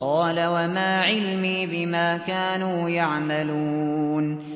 قَالَ وَمَا عِلْمِي بِمَا كَانُوا يَعْمَلُونَ